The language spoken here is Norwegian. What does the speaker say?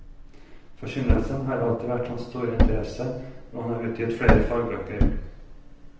Forkynnelsen har alltid vært hans store interesse, og han har utgitt flere fagbøker.